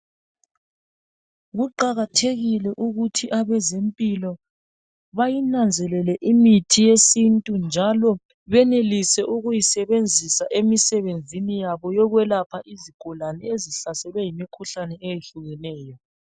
Kuqakathekile ukuthi abeze mpilo bayinanzelele imithi yesintu njalo benelise ukuyisebenzisa emisebenzini yabo yokwelapha izigulane ezihlaselwe yimikhuhlane ehlukeneyo.